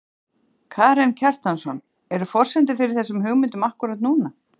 Karen Kjartansson: Eru forsendur fyrir þessum hugmyndum akkúrat núna?